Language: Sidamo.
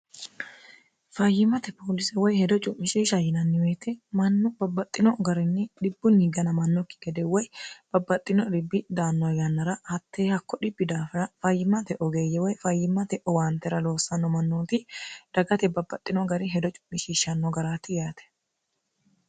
fayyimmate poolise woy hedo cu'mishiish h yinanniweete mannu babbaxxino garinni dhibbunni ganamannokki gede woy babbaxxino ribbi danno gannra hattee hakko dhibbi daafina fayyimmate ogeeyye woy fayyimmate owaantera loossanno mannooti dagate babbaxxino gari hedo cu'mishishshanno garati yaate